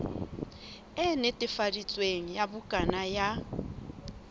e netefaditsweng ya bukana ya